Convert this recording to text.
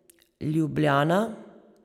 Ljubljana.